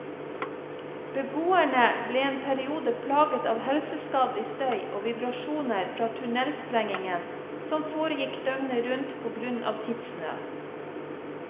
Beboerne ble en periode plaget av helseskadelig støy og vibrasjoner fra tunnelsprengningen, som foregikk døgnet rundt på grunn av tidsnød.